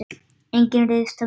Enginn ryðst á mig.